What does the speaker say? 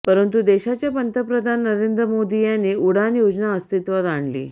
परंतु देशाचे पंतप्रधान नरेंद्र मोदी यांनी उडान योजना अस्तित्वात आणली